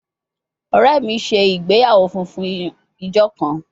Ọrẹ mi ṣe igbeyawo funfun ijo kan